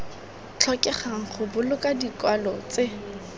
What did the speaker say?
tlhokegang go boloka dikwalo tse